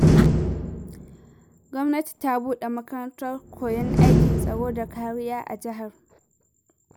Gwamnati ta buɗe makarantar koyon aikin tsaro da kariya a jihar.